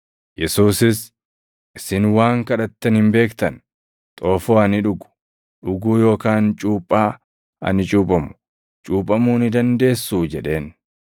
Yesuusis, “Isin waan kadhattan hin beektan; xoofoo ani dhugu, dhuguu yookaan cuuphaa ani cuuphamu, cuuphamuu ni dandeessuu?” jedheen.